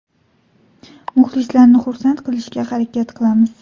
Muxlislarni xursand qilishga harakat qilamiz.